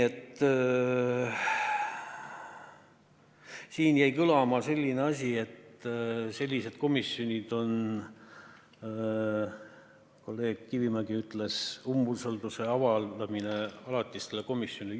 Siin jäi kõlama selline asi – kolleeg Kivimägi ütles –, et sellised komisjonid on nagu umbusalduse avaldamine alatisele komisjonile.